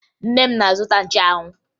Nne m na-azụta nchụanwụ